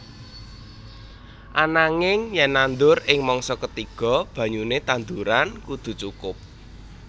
Ananging yen nandur ing mangsa ketiga banyune tanduran kudu cukup